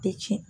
Tɛ tiɲɛ